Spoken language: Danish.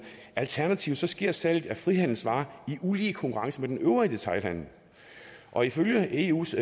alternativt sker salget af frihandelsvarer i ulige konkurrence med den øvrige detailhandel og ifølge eus